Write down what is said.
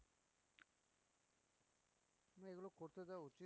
করতে দেওয়া উচিৎ